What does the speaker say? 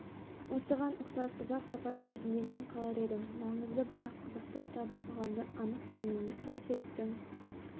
осыған ұқсас ұзақ сапар кезінде мен қалар едім маңызды бірақ қызықты кітап оқығанды анық білмеймін жолсеріктің